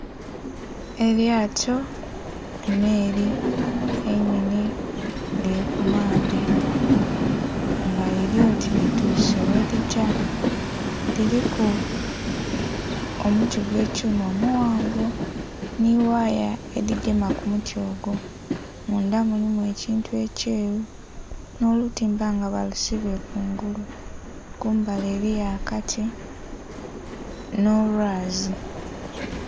Elyato, emmeri ennhenhe nga eli ku maadhi nga liri oti lituse gherigya, liriku omuti gw'ekyuma omughanvu ni waya edhigema kumuti ogwo. Mundha mulimu ekintu ekyeru n'olutimba nga balusibye kungulu, kumbali eliyo akati n'olwazi.